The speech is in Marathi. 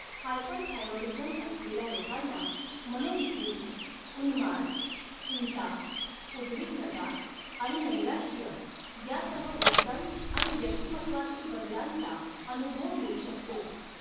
हायपरथायरॉईडीझम असलेल्या लोकांना मनोविकृती, उन्माद, चिंता, उद्विग्नता आणि नैराश्य यासह वर्तन आणि व्यक्तिमत्त्वातील बदलांचा अनुभव येऊ शकतो.